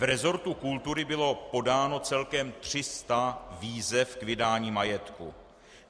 V resortu kultury bylo podáno celkem 300 výzev k vydání majetku.